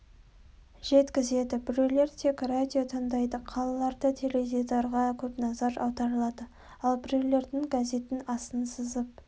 жеткізеді біреулер тек радио тыңдайды қалаларда теледидарға көп назар аударылады ал біреулердің газеттің астын сызып